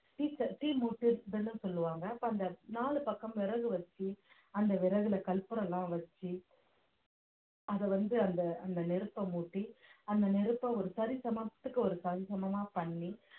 தீச்ச~ தீ மூட்டி வெலும் சொல்லுவாங்க அப்ப அந்த நாலு பக்கம் விறகு வச்சு அந்த விறகுல கற்பூரம் எல்லாம் வச்சு அத வந்து அந்த அந்த நெருப்ப மூட்டி அந்த நெருப்ப ஒரு சரிசமத்துக்கு ஒரு சரிசமமா பண்ணி